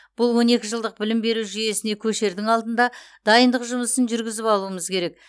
бұл он екі жылдық білім беру жүйесіне көшердің алдында дайындық жұмысын жүргізіп алуымыз керек